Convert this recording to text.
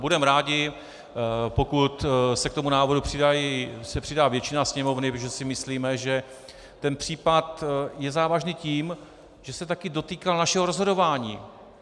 Budeme rádi, pokud se k tomu návrhu přidá většina Sněmovny, protože si myslíme, že ten případ je závažný tím, že se také dotýká našeho rozhodování.